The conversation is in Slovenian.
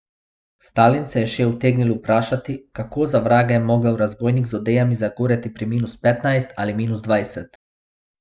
Stalin se je še utegnil vprašati, kako za vraga je mogel zabojnik z odejami zagoreti pri minus petnajst ali minus dvajset.